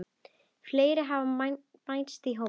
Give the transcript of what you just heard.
Fleiri hafa bæst í hópinn.